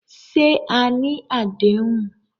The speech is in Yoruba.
Ṣé à ní adéhùn?